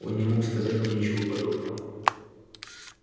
он не мог сказать вам ничего подобного